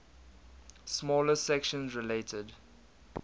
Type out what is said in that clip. smaller sections related